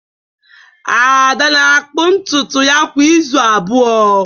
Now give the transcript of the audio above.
Ada na-akpụ ntutu ya kwa izu abụọ.